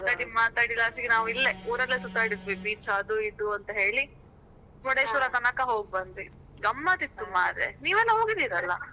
ಹಾಗೆ ಮಾತಾಡಿ ಮಾತಾಡಿ last ಗೆ ನಾವ್ ಇಲ್ಲೇ, ಊರಲ್ಲೇ ಸುತ್ತಾಡಿದ್ವಿ beach ಅದು ಇದು ಅಂತ ಹೇಳಿ. Murudeshwar ತನಕ ಹೋಗ್ ಬಂದ್ವಿ, ಗಮ್ಮತ್ ಇತ್ತು ಮಾರೆ ನೀವ್ ಎಲ್ಲ ಹೋಗಿದ್ದಿರಿ ಅಲ.